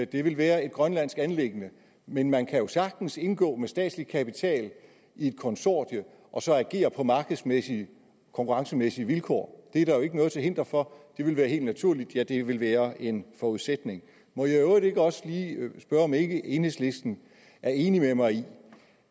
det vil være et grønlandsk anliggende men man kan jo sagtens indgå med statslig kapital i et konsortium og så agere på markedsmæssige konkurrencemæssige vilkår det er der jo ikke noget til hinder for det ville være helt naturligt ja det ville være en forudsætning må jeg i øvrigt ikke også lige spørge om ikke enhedslisten er enig med mig i